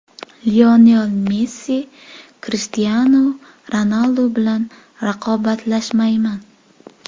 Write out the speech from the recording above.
Lionel Messi: Krishtianu Ronaldu bilan raqobatlashmayman.